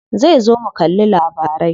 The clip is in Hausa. Zai zo mu kalli labarai.